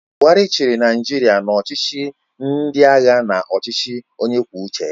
Buhari chịrị Naijiria na ọchịchị ndị agha na ọchịchị onye kwụrụ uche ya.